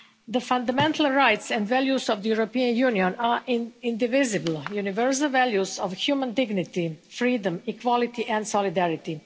The fundamental rights and values of the European Union are indivisible, universal values of human dignity, freedom, equality and solidarity.